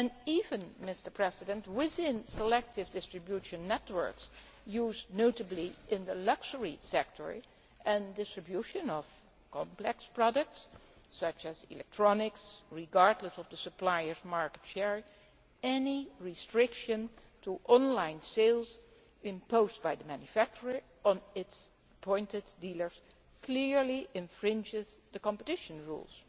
Even within selective distribution networks, used notably in the luxury sector, and distribution of complex products such as electronics regardless of the suppliers' market share any restriction to on line sales imposed by the manufacturer on its appointed dealers clearly infringes the competition rules.